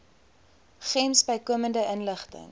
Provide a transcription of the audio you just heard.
gems bykomende inligting